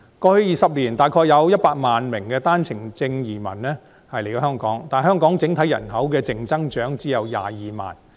過去20年，大約有100萬名單程證移民來香港，但香港整體人口的淨增長只有22萬。